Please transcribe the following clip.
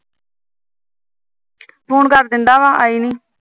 phone ਕਰ ਦਿੰਦਾ ਵਾ ਆਈ ਨੀ